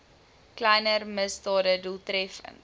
kleiner misdade doeltreffend